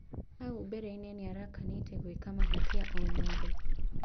Haũ mbereinĩ nĩarakanĩte gwĩka mahĩtia o mothe.